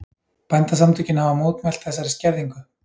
Bændasamtökin hafa mótmælt þessari skerðingu